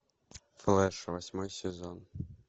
флэш восьмой сезон